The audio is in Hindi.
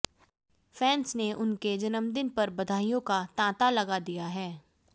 फैन्स ने उनके जन्मदिन पर बधाइयों का तांता लगा दिया है